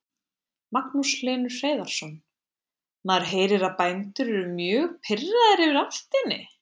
Magnús Hlynur Hreiðarsson: Maður heyrir að bændur eru mjög pirraðir yfir álftinni?